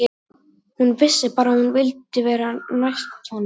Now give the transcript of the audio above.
Hún vissi bara að hún vildi vera sem næst honum.